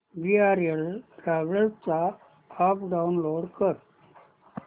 VRL travels चा app download कर